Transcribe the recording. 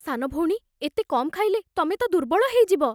ସାନ ଭଉଣୀ, ଏତେ କମ୍ ଖାଇଲେ, ତମେ ତ ଦୁର୍ବଳ ହେଇଯିବ ।